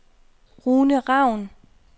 Rune Raun